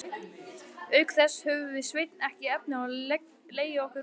Auk þess höfðum við Sveinn ekki efni á að leigja okkur húsnæði.